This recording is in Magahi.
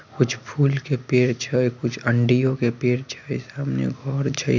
कुछ फूल के पड़े छै कुछ अँड़ियो के पेड़ छै | सामने घर छै ।